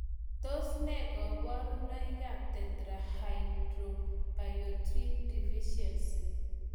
Tos nee koborunoikab Tetrahydrobiopterin deficiency?